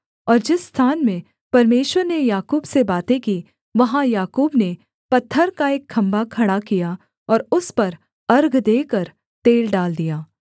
और जिस स्थान में परमेश्वर ने याकूब से बातें की वहाँ याकूब ने पत्थर का एक खम्भा खड़ा किया और उस पर अर्घ देकर तेल डाल दिया